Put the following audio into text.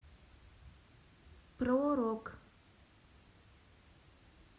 про рок